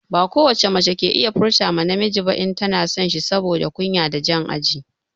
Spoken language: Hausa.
Ba ko wace mace ke iya furta ma namiji ba in tana son shi saboda kunya da jan aji.